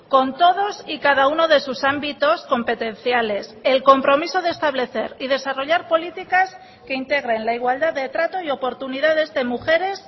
con todos y cada uno de sus ámbitos competenciales el compromiso de establecer y desarrollar políticas que integren la igualdad de trato y oportunidades de mujeres